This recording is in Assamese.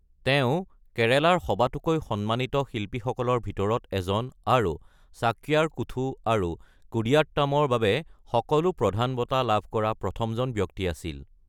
তেওঁ কেৰালাৰ সবাতোকৈ সন্মানিত শিল্পীসকলৰ ভিতৰত এজন আৰু চাক্যাৰ কুথু আৰু কুদিয়াট্টামৰ বাবে সকলো প্ৰধান বঁটা লাভ কৰা প্ৰথমজন ব্যক্তি আছিল।